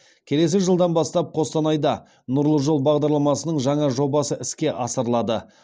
келесі жылдан бастап қостанайда нұрлы жол бағдарламасының жаңа жобасы іске асырылады